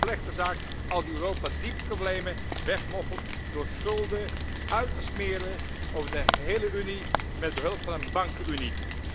Het is een slechte zaak als Europa die problemen wegmoffelt door schulden uit te smeren over de gehele Unie met behulp van een Bankenunie.